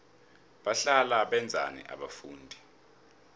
bahlala benzani abafundi